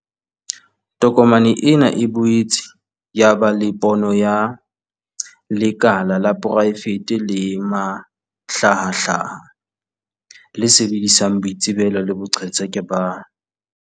Tokomane ena e boetse ya ba le pono ya 'lekala la poraefete le mahlahahlaha, le sebedisang boitsebelo le boqhetseke ba